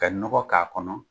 Ka nɔgɔ k'a kɔnɔ.